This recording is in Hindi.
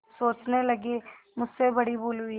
सोचने लगेमुझसे बड़ी भूल हुई